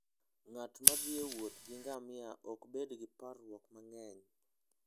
Ng'at ma thi e wuoth gi ngamia ok bed gi parruok mang'eny.